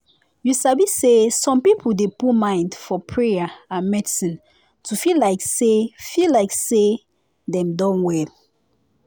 you sabi say some people dey put mind for prayer and medicine to feel like say feel like say dem don well.